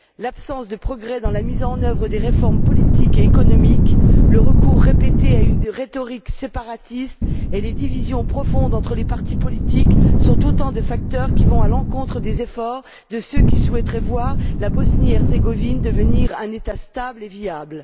L'absence de progrès dans la mise en œuvre des réformes politiques et économiques, le recours répété à une rhétorique séparatiste et les divisions profondes entre les partis politiques sont autant de facteurs qui vont à l'encontre des efforts de ceux qui souhaiteraient voir la Bosnie Herzégovine devenir un État stable et viable.